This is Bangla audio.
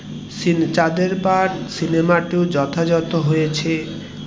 চাঁদের পাহাড় সিনেমা টিও যথাযথ হয়েছে